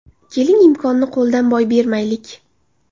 Keling, imkonni qo‘ldan boy bermaylik.